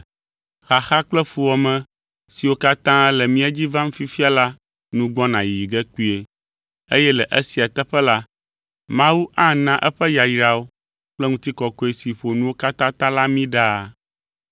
Xaxa kple fuwɔame siwo katã le mía dzi vam fifia la nu gbɔna yiyi ge kpuie, eye le esia teƒe la, Mawu ana eƒe yayrawo kple ŋutikɔkɔe si ƒo nuwo katã ta la mí ɖaa.